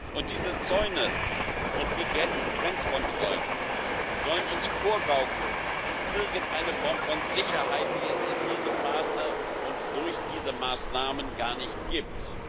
Und diese Zäune und die Grenzkontrollen sollen uns irgendeine Form von Sicherheit vorgaukeln, die es in diesem Maße und durch diese Maßnahmen gar nicht gibt.